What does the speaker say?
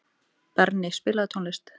Berni, spilaðu tónlist.